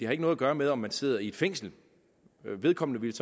har noget at gøre med om man sidder i fængsel vedkommende ville